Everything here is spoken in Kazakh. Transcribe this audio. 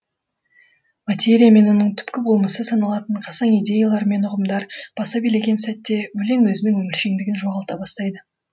материя мен оның түпкі болмысы саналатын қасаң идеялар мен ұғымдар баса билеген сәтте өлең өзінің өміршеңдігін жоғалта бастайды